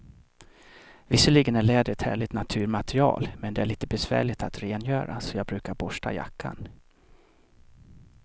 Visserligen är läder ett härligt naturmaterial, men det är lite besvärligt att rengöra, så jag brukar borsta jackan.